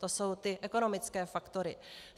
To jsou ty ekonomické faktory.